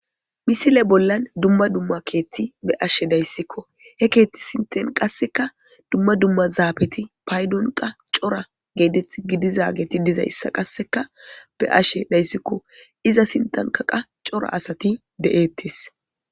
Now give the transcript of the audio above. Misile bollan dumma dumma keetti be ashe dayssikko he keetti sinten qasseka dumma dumma zaabeti paydon qa coora gidizageti dizayssa qasseka be ashe dayssikko iza sintankaqa cora asati de'ettes